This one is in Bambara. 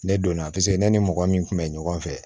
Ne donna ne ni mɔgɔ min kun bɛ ɲɔgɔn fɛ